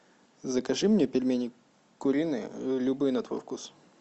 закажи мне пельмени куриные любые на твой вкус